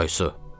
Aysu,